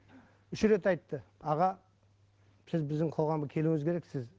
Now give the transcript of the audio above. үш рет айтты аға сіз біздің қоғамға келуіңіз керекіз